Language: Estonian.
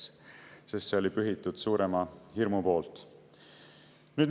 See oli pühitud suurema hirmu tõttu.